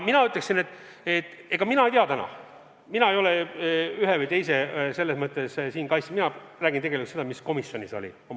Mina ei ole täna siin ühe või teise kaitsja, mina räägin tegelikult seda, mis komisjonis oli.